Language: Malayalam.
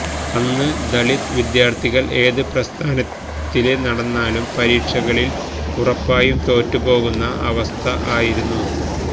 അന്ന് ദലിത് വിദ്യാര്ത്ഥികള് ഏത് പ്രസ്ഥാനത്തില് നടന്നാലും പരീക്ഷകളില് ഉറപ്പായും തോറ്റുപോകുന്ന അവസ്ഥ ആയിരുന്നു